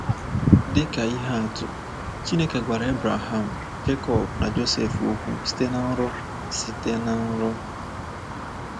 Dị ka ihe atụ, Chineke gwara Abraham, Jekọb, na Josef okwu site na nrọ. site na nrọ.